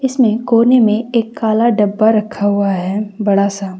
इसमें कोने में एक काला डब्बा रखा हुआ है बड़ा सा।